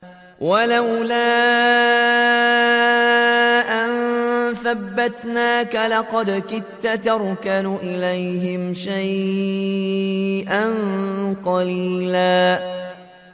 وَلَوْلَا أَن ثَبَّتْنَاكَ لَقَدْ كِدتَّ تَرْكَنُ إِلَيْهِمْ شَيْئًا قَلِيلًا